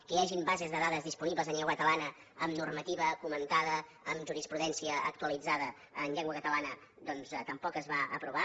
que hi hagin bases de dades disponibles en llengua catalana amb normativa comentada amb jurisprudència actualitzada en llengua catalana doncs tampoc es va aprovar